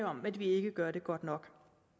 om at vi ikke gør det godt nok